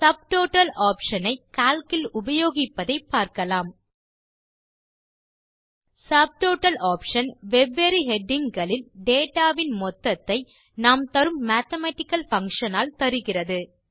subtotal option ஐ Calc இல் உபயோகிப்பதை பார்க்கலாம் சப்டோட்டல் ஆப்ஷன் வெவ்வேறு ஹெடிங் களில் டேட்டா வின் மொத்ததை நாம் தரும் மேத்தமேட்டிக்கல் பங்ஷன் ஆல் தருகிறது